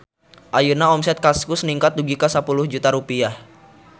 Ayeuna omset Kaskus ningkat dugi ka 10 juta rupiah